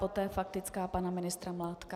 Poté faktická pana ministra Mládka.